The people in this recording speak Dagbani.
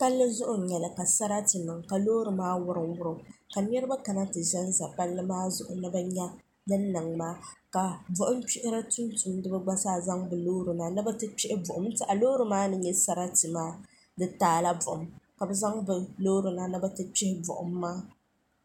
pali zuɣ n nyɛli ka saratɛ niŋ ka lori maa wurim wurim ka niriba ka ti zan zaya pali maa zuɣ ni bɛ nyɛ din niŋ maa bɔɣim kpɛriba tumtuniba gba saa zaŋ be lori na na n tɛha lori maa ni nyɛ saritɛ maa di taala bɔɣim ka be zaŋ lori na ni be ti kpɛhi bɔɣim maa